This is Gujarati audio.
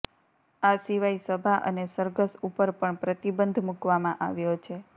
આ સિવાય સભા અને સરઘસ ઉપર પણ પ્રતિબંધ મૂકવામાં આવ્યો છે